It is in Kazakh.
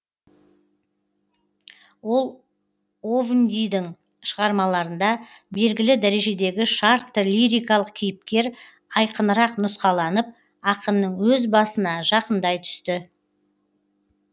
ол овндийдің шығармаларында белгілі дәрежедегі шартты лирикалық кейіпкер айқынырақ нұсқаланып ақынның өз басына жақындай түсті